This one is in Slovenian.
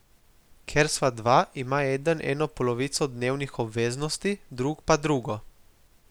Ker sva dva, ima eden eno polovico dnevnih obveznosti, drug pa drugo.